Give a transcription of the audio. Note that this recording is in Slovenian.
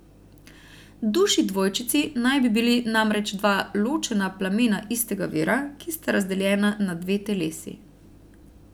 Duši dvojčici naj bi bili namreč dva ločena plamena istega vira, ki sta razdeljena na dve telesi.